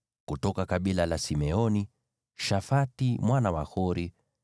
kutoka kabila la Simeoni, Shafati mwana wa Hori;